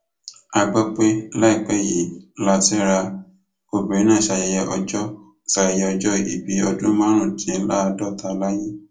a gbọ pé láìpẹ yìí látẹra obìnrin náà ṣayẹyẹ ọjọ ṣayẹyẹ ọjọ ìbí ọdún márùndínláàádọta láyé